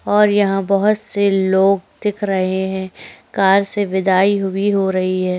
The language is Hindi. और यहाँ बहुत से लोग दिखाई दे रहै है कार से विदाई हो रही हैं।